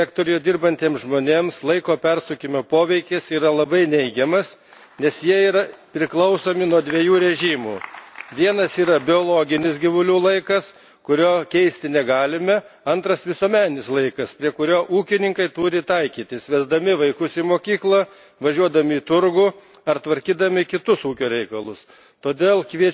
Žemės ūkio sektoriuje dirbantiems žmonėms laiko persukimo poveikis yra labai neigiamas, nes jie priklauso nuo dviejų režimų vienas yra biologinis gyvulių laikas, kurio keisti negalime, antras visuomeninis laikas, prie kurio ūkininkai turi taikytis, veždami vaikus į mokyklą, važiuodami į turgų ar tvarkydami kitus ūkio reikalus.